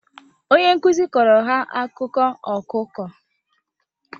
Onye nkuzi kọọrọ ha akụkọ ọkụkọ